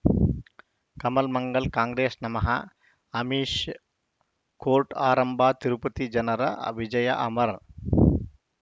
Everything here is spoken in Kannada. ಕಮಲ್ ಮಂಗಳ್ ಕಾಂಗ್ರೆಸ್ ನಮಃ ಅಮಿಷ್ ಕೋರ್ಟ್ ಆರಂಭ ತಿರುಪತಿ ಜನರ ಅ ವಿಜಯ ಅಮರ್